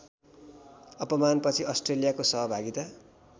अपमानपछि अस्ट्रेलियाको सहभागिता